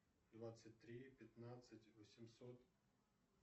двадцать три пятнадцать восемьсот